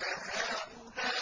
أَهَٰؤُلَاءِ